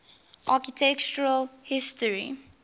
architectural history